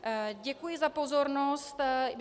Děkuji za pozornost.